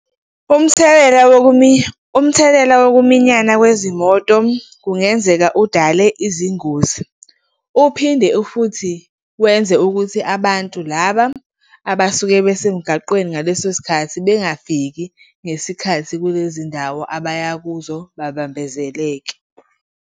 Umthelela umthelela wokuminyana kwezimoto kungenzeka udale izingozi. Uphinde futhi wenze ukuthi abantu laba abasuke besemgaqweni ngaleso sikhathi bengafiki ngesikhathi kulezindawo abaya kuzo babambezeleka.